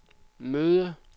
møde